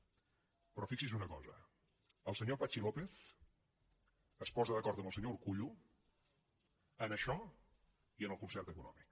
però fixi’s en una cosa el senyor patxi lópez es posa d’acord amb el senyor urkullu en això i en el concert econòmic